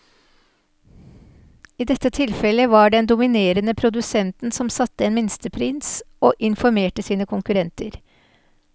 I dette tilfellet var det den dominerende produsenten som satte en minstepris og informerte sine konkurrenter.